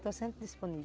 Estou sempre disponível.